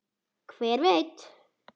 Hver veit